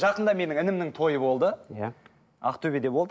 жақында менің інімнің тойы болды иә ақтөбеде болды